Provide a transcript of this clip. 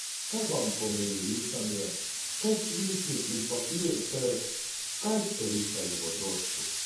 Kaj vam pomeni risanje, kaj svinčnik in papir ter kaj ste risali v otroštvu?